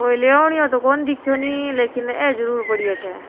कोई लेवनियों तो को देखो नी लेकिन अ जरूर पड़ी है अठ।